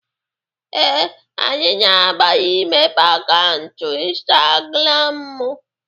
Ee, anyị na-agbalị imepe akaụntụ Ịnstagramụ.